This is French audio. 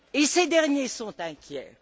Ces derniers sont inquiets.